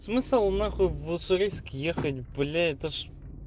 смысл нахуй в уссурийск ехать бля это же